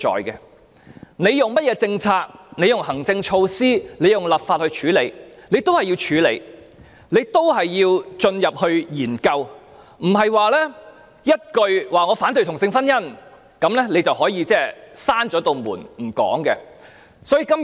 無論政府以甚麼政策、行政措施或立法手段作出處理，問題仍然需要處理，仍然需要進行研究，不能單以"反對同性婚姻"這一句，便關上大門閉口不談。